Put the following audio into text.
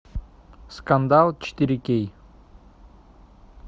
скандал четыре кей